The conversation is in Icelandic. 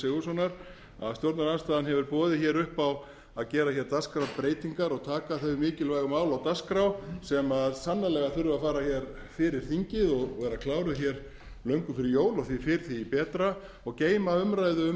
sigurðssonar að stjórnarandstaðan hefur boðið upp á að gera dagskrárbreytingar og taka þau mikilvægu mál á dagskrá sem sannarlega þurfa að fara fyrir þingið og vera kláruð löngu fyrir jól og því fyrr því betra og geyma umræðu um